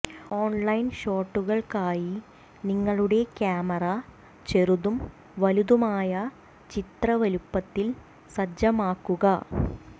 online ഷോട്ടുകൾക്കായി നിങ്ങളുടെ camera ചെറുതും വലുതുമായ ചിത്ര വലുപ്പത്തിൽ സജ്ജമാക്കുക